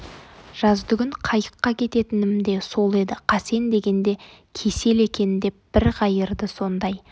жазды күн қайыққа кететінім де сол еді қасен деген де кесел екен деп бір қайырды сондай